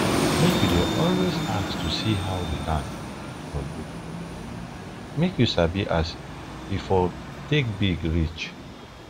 make u dey always ask to see how dey land for look make u for sabi as e for take big reach